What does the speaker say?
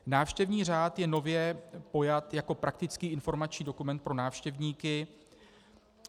Návštěvní řád je nově pojat jako praktický informační dokument pro návštěvníky.